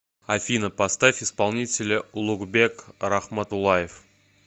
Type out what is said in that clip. афина поставь исполнителя улукбек рахматулаев